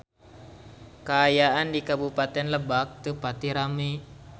Kaayaan di Kabupaten Lebak teu pati rame